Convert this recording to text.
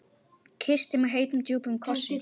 Kyssti mig heitum, djúpum kossi.